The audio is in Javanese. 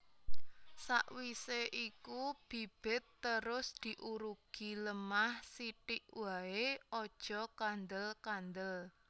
Sakwisé iku bibit terus diurugi lemah sithik waé aja kandel kandel